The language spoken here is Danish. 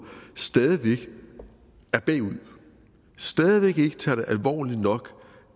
stadig væk er bagud stadig væk ikke tager det alvorligt nok